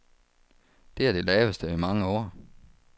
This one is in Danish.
Det er det laveste i mange år.